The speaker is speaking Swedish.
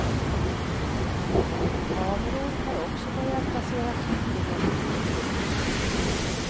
Kameror har också börjat placeras ut i hemlighet.